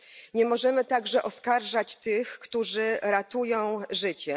Nie możemy także oskarżać tych, którzy ratują życie.